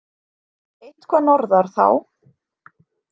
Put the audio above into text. Eitthvað norðar, þá